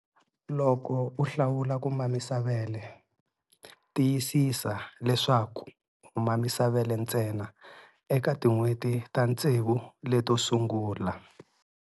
Loko u hlawula ku mamisa vele, tiyisisa leswaku u mamisa vele ntsena eka tin'hweti ta tsevu leto sugula.